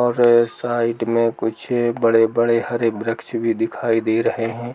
और स-साइड मे कुछ बड़े-बड़े हरे वृक्ष भी दिखाई दे रहे है।